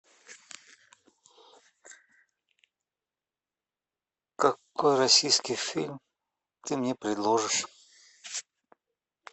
какой российский фильм ты мне предложишь